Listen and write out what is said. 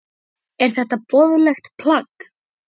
Er þetta boðlegt plagg?